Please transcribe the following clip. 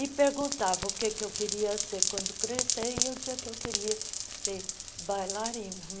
E perguntavam o que eu queria ser quando crescer e eu dizia que eu queria ser bailarina.